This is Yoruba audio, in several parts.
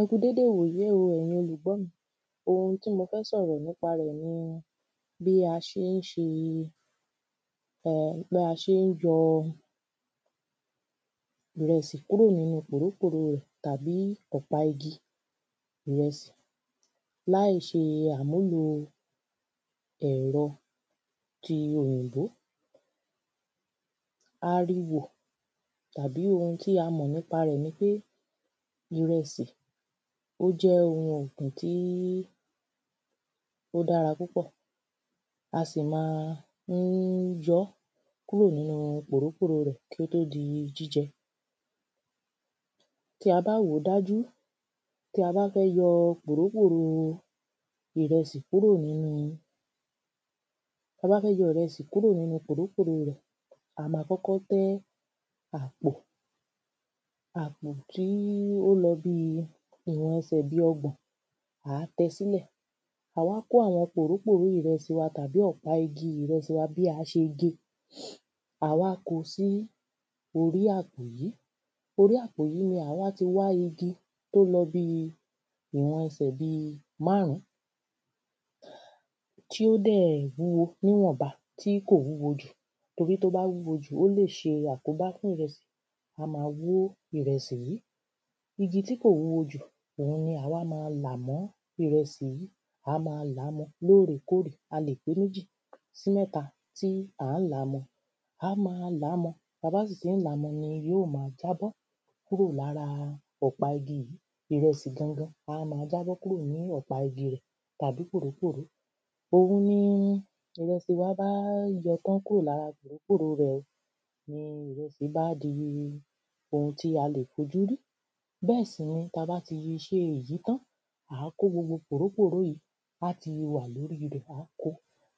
Ẹ kú dédé ìwòyìí o ẹ̀yin olùgbọ́ mi ohun tí mo fẹ́ sọ̀rọ̀ nípa rẹ̀ ni bí a ṣe ń ṣe bí a ṣe ń yọ ìrẹsì kúrò nínú pòró pòró rẹ̀ tàbí ọ̀pá igi ìrẹsì láì ṣe àmúlò ẹ̀rọ ti òyìnbó. A rí wò tàbí ohun tí a mọ̀ nípa rẹ̀ nipé ìrẹsì ó jẹ́ ohun ọ̀gbìn tí ó dára púpọ̀ a sì ma ń yọ́ kúrò nínú pòró pòró rẹ̀ kí ó tó di jíjẹ. tí a bá wòó dájú tí a bá fẹ́ yọ pòró pòró ìrẹsì kúrò nínú. Tá bá fẹ́ yọ ìrẹsì kúrò nínú pòró pòró rẹ̀ a má kọ́kọ́ tẹ́ àpò àpò tí ó lọ bí ìwọ̀n ẹsẹ̀ bí ọgbọ̀n à á tẹ́ sílẹ̀ à á wá kó àwọn pòró pòró ìrẹsì wa tàbí ọ̀pá igi ìrẹsì wa bí a ṣe gé à á wá kó sí orí àpò yìí torí àpò yìí là wá ti wá igi tó lọ bí ìwọ̀n ẹsẹ̀ bí márún. tí ó dẹ̀ wúwo níwọ̀nba tí kò wúwo jù torí tó bá wúwo jù ó lè ṣe àkóbá fún ìrẹsì á má wú ìrẹsì yìí igi tí kò wúwo jùá má wú ìrẹsì yìí igi tí kò wúwo jù òhun ni à á wá má là mọ́ ìrẹsì yìí à á má làá mọ́ lórè kórè a lè pé méjì sí mẹ́ta tí à á là mọ́ à á mọ́ làá mọ́ tá bá sì tí ń là mọ́ ni yọ́ má jábọ́ kúrò lára ọ̀pá igi yìí ìrẹsì gan gan á má jábọ́ kúrò nínú ọ̀pá igi yìí àbí pòró pòró òhun ìrẹsì wa bá yọ tán kúrò lára pòró pòró rẹ̀ ìrẹsì bá di ohun tí a lè fojú rí bẹ́ẹ̀ sì ni tá bá ti ṣe èyí tán à á kó gbogbo kòró kòró yìí á ti wà lórí rẹ̀ à á kó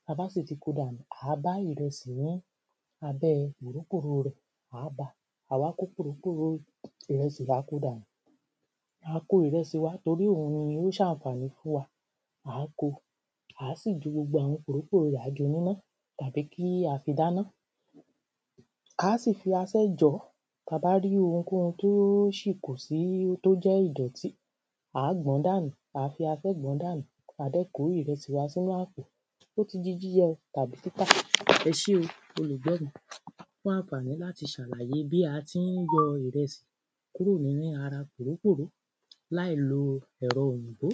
tá bá sì ti kó dànù à á bá ìrẹsì ní abẹ́ kòró kòró rẹ̀ à á bá à á wá kòró kòró yìí ìrẹsì à á kó dànù à á kó ìrẹsì wa torí òhun ló ń ṣànfàní fún wa à á kó à á sì ju gbogbo àwọn kòró kòró rẹ̀ à á jọ́ níná tàbí kí a fi dáná à á sì fi aṣẹ́ jọ̀ọ́ tá bá rí ohunkóhun tó sì kù tó jẹ́ ìdọ̀tí à á gbọ̀n dànù à á fi asẹ́ gbọ̀n dànù à dẹ̀ kó ìrẹsì wa sínú àpò ó ti di jíjẹ tàbí títà ẹṣé o olùgbọ́ mi fún ànfàní láti ṣàlàyé bí a ti ń yọ ìrẹsì kúrò nínú ara pòró pòró láì lo ẹ̀rọ òyìnbó.